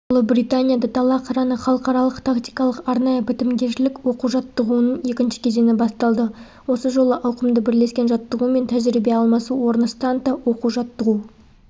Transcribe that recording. ұлыбританияда дала қыраны халықаралық тактикалық-арнайы бітімгершілік оқу-жаттығуының екінші кезеңі басталды осы жолы ауқымды бірлескен жаттығу мен тәжірибе алмасу орны станта оқу-жаттығу